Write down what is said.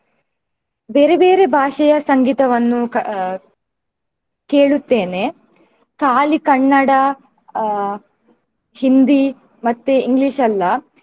ಬೇರೆ ಬೇರೆ ಭಾಷೆಯ ಸಂಗೀತವನ್ನು ಕ~ ಕೇಳುತ್ತೇನೆ. ಖಾಲಿ ಕನ್ನಡ ಆ Hindi ಮತ್ತೆ English ಅಲ್ಲ.